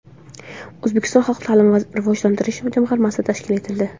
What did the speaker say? O‘zbekistonda xalq ta’limini rivojlantirish jamg‘armasi tashkil etildi.